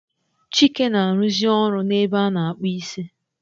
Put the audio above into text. Chike na aruzi oru na ebe a na akpu isi